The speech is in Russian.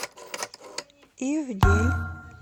ивдель